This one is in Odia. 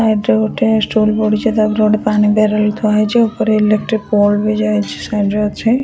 ଏଇଠି ଗୋଟେ ଷ୍ଟୁଲ ପଡିଛି ତା ଉପରେ ଗୋଟେ ପାଣି ବ୍ୟାରେଲ ଥୁଆ ହେଇଛି ଉପରେ ଇଲେକଟ୍ରି ପୋଲ ବି ଯାଇଛି ସାଇଡ ରେ ଅଛି।